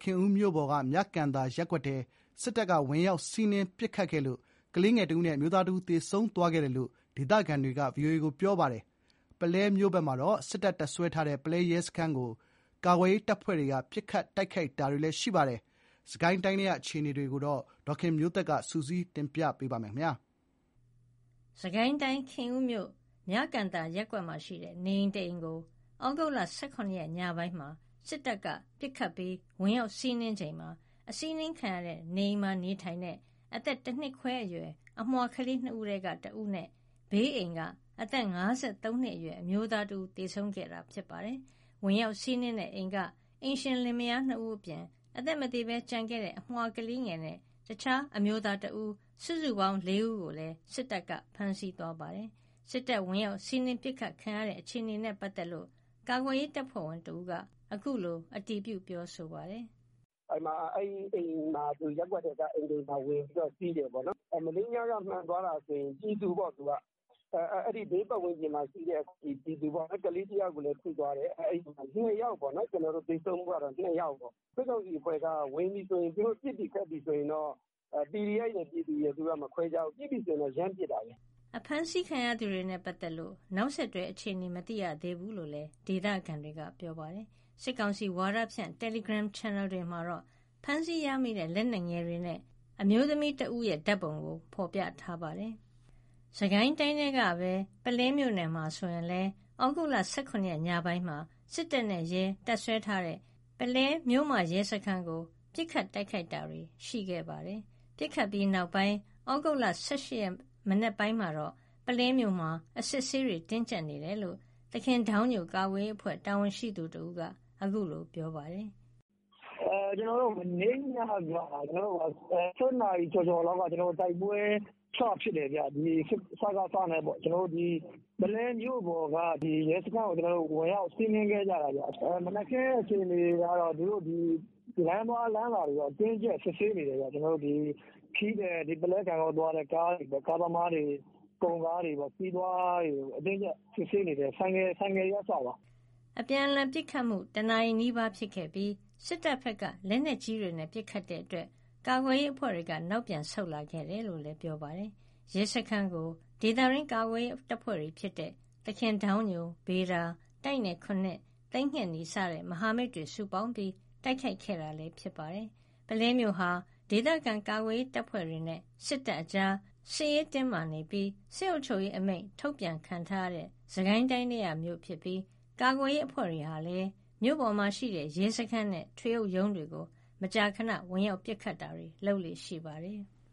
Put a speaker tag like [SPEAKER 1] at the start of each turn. [SPEAKER 1] ခင်ဦးမြို့ပေါ်က မြကန်သာရပ်ကွက်ကို စစ်တပ်က ဝင်ရောက် စီးနင်းပစ်ခတ်ခဲ့လို့ ကလေးငယ် ၁ ဦးနဲ့ အမျိုးသား ၁ ဦး သေဆုံးသွားခဲ့တယ်လို့ ဒေသခံတွေက ပြောပါတယ်။ ပုလဲမြို့ပေါ်မှာလည်း စစ်တပ် တပ်စွဲထားတဲ့ ပုလဲ ရဲစခန်းကို ကာကွယ်ရေးတပ်ဖွဲ့တွေက ပစ်ခတ် တိုက်ခိုက်ခဲ့ပါတယ်။ စစ်ကိုင်းတိုင်းထဲက အခြေအနေတွေကို ဒေါ်ခင်မျိုးသက်က စုစည်းတင်ပြပေးထားပါတယ်။
[SPEAKER 2] စစ်ကိုင်းတိုင်း၊ ခင်ဦးမြို့၊ မြကန်သာရပ်ကွက်မှာရှိတဲ့ နေအိမ်တအိမ်ကို သြဂုတ် ၁၇ ရက်ညပိုင်းမှာ စစ်တပ်ကပစ်ခတ်ပြီး ဝင်ရောက်စီးနင်းချိန် နေအိမ်မှာနေထိုင်တဲ့ တနှစ်ခွဲအရွယ် အမွှာကလေး ၂ ဦးထဲက ၁ ဦးနဲ့ ဘေးအိမ်က အသက် ၅၃ နှစ်အရွယ်အမျိုးသား ၁ ဦး သေဆုံးခဲ့တာပါ။ ဝင်ရောက်စီးနင်းတဲ့အိမ်က အိမ်ရှင်လင်မယား ၂ ဦးအပြင် အသက်မသေဘဲကျန်ခဲ့တဲ့ အမြွာကလေးငယ်နဲ့ အခြားအမျိုးသား ၁ ဦး စုစုပေါင်း ၄ ဦးကိုလည်း စစ်တပ်က ဖမ်းဆီးသွားပါတယ်။ စစ်တပ်ဝင်ရောက်စီးနင်း ပစ်ခတ်ခံရတဲ့အခြေအနေနဲ့ ပတ်သက်လို့ ကာကွယ်ရေးတပ်ဖွဲ့ဝင်တဦးက အခုလို အတည်ပြု ပြောပါတယ်။
[SPEAKER 3] “ရပ်ကွက်ထဲကအိမ်တအိမ်မှာ ဝင်ပြီးတော့ စီးတယ်ပေါ့နော်။ မနေ့ညက မှန်သွားတာဆို ဘေးပတ်ဝန်းကျင်မှာရှိတဲ့ ပြည်သူပေါ့။ ကလေးတယောက်ကိုလည်း ထိသွားတယ်။ သေဆုံးမှုကတော့ ၂ ယောက်ပေါ့။ စစ်ကောင်စီက ဝင်ပြီဆိုရင် သူတို့ ပစ်ပြီခတ်ပြီဆိုရင် PDF ရယ် ပြည်သူရယ် မခွဲခြားဘူး။ ပစ်ပြီဆို ရမ်းပစ်တာ။
[SPEAKER 2] ” ဖမ်းဆီးခံရသူတွေနဲ့ပတ်သက်လို့ နောက်ဆက်တွဲ အခြေအနေမသိရသေးဘူးလို့ ဒေသခံတွေက ပြောပါတယ်။ စစ်ကောင်စီဝါဒဖြန့် တယ်လီဂရမ်ချန်နယ်တွေမှာတော့ ဖမ်းဆီးရမိတဲ့ လက်နက်ငယ်တွေနဲ့ အမျိုးသမီးတဦး ဓာတ်ပုံကို ဖော်ပြထားပါတယ်။ စစ်ကိုင်းတိုင်းထဲကပဲ ပုလဲမြို့နယ်မှာဆိုရင်လည်း သြဂုတ်လ ၁၇ ရက် ညပိုင်းမှာ စစ်တပ်နဲ့ရဲ တပ်စွဲထားတဲ့ ပုလဲမြို့မရဲစခန်းကို ပစ်ခတ် တိုက်ခိုက်တာတွေ ရှိခဲ့ပါတယ်။ ပစ်ခတ်ပြီးနောက်ပိုင်း သြဂုတ်လ ၁၈ ရက် မနက်ပိုင်းမှာတော့ ပုလဲမြို့မှာ အစစ်အဆေးတွေ တင်းကျပ်နေတယ်လို့ သခင်ဒေါင်းညို ကာကွယ်ရေးအဖွဲ့ တာဝန်ရှိသူတဦးက အခုလို ပြောပါတယ်
[SPEAKER 1] ။
[SPEAKER 4] “မနေ့ညက ၁၁ နာရီကျော်ကျော်လောက်က တိုက်ပွဲစဖြစ်တယ်။ စကစနဲ့ ပုလဲမြို့ပေါ်က ရဲစခန်းကို ဝင်ရောက်စီးနင်းခဲ့ကြတာ။ မနက်ခင်း အခြေအနေကတော့ လမ်းသွားလမ်းလာတွေကို အတင်းအကျပ် စစ်ဆေးနေတယ်။ ခရီးသည် ပုလဲ ဂန့်ဂေါသွားတဲ့ ကားသမားတွေ၊ ကုန်ကားသမားတွေ၊ ခရီးသွားတွေကို အတင်းအကျပ် စစ်ဆေးနေတယ်။ ဆိုင်ကယ်တွေက အစပေါ့။
[SPEAKER 2] ” တနာရီနီးပါး အပြန်အလှန်ပစ်ခတ်ခဲ့ပြီး စစ်တပ်ဘက်က လက်နက်ကြီးတွေနဲ့ ပစ်ခတ်တာကြောင့် ကာကွယ်ရေးအဖွဲ့တွေက နောက်ပြန်ဆုတ်လာခဲ့တယ်လို့လည်း ပြောပါတယ်။ ရဲစခန်းကို ဒေသတွင်း ကာကွယ်ရေးတပ်ဖွဲ့တွေ ဖြစ်တဲ့ သခင်ဒေါင်းညို၊ ဗေဒါ ၊ တိုက်နယ် ၇ ၊ သိမ်းငှက်နီ စတဲ့ မဟာမိတ်တွေစုပေါင်းပြီး တိုက်ခိုက်ခဲ့တာလည်း ဖြစ်ပါတယ်။ ပုလဲမြို့ဟာ ဒေသခံကာကွယ်ရေး တပ်ဖွဲ့တွေနဲ့ စစ်တပ်အကြာ စစ်ရေးတင်းမာပြီး စစ်အုပ်ချုပ်ရေးအမိန့် ထုတ်ပြန်ခံထားရတဲ့ စစ်ကိုင်းတိုင်းထဲက မြို့ဖြစ်ပြီး ကာကွယ်ရေး အဖွဲ့တွေဟာလည်း မြို့ပေါ်မှာရှိတဲ့ ရဲစခန်းနဲ့ ထွေအုပ်ရုံးကို မကြာခဏ ဝင်ရောက်ပစ်ခတ်လေ့ရှိပါတယ်။